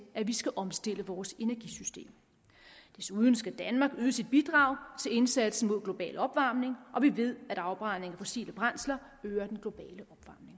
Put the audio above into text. at vi skal omstille vores energisystem desuden skal danmark yde sit bidrag til indsatsen mod global opvarmning og vi ved at afbrænding af fossile brændsler øger den globale